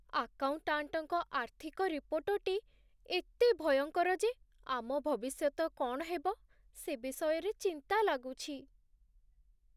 ଆକାଉଣ୍ଟାଣ୍ଟଙ୍କ ଆର୍ଥିକ ରିପୋର୍ଟଟି ଏତେ ଭୟଙ୍କର ଯେ ଆମ ଭବିଷ୍ୟତ କ'ଣ ହେବ, ସେ ବିଷୟରେ ଚିନ୍ତା ଲାଗୁଛି।